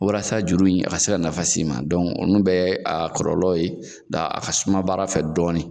Walasa juru in a ka se ka nafa s'i ma olu bɛɛ ye a kɔlɔlɔ ye a ka suma baara fɛ dɔɔnin